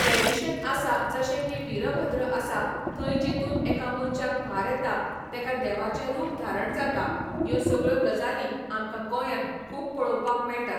tradition आसा जशें की वीरभद्र आसा थंय जेतूंत एका मनश्याक भार येता तेका देवाचें रूप धारण जाता ह्यो सगळ्यो गजालीं आमकां गोंयांत खूब पळोवपाक मेळटात